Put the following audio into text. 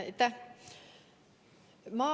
Aitäh!